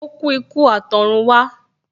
O ku ikú atorunwa